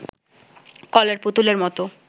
কলের পুতুলের মতো